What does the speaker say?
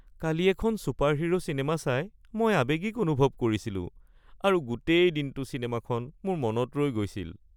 কালি এখন superhero cinema চাই মই আৱেগিক অনুভৱ কৰিছিলোঁ আৰু গোটেই দিনটো চিনেমাখন মোৰ মনত ৰৈ গৈছিল। (বন্ধু ২)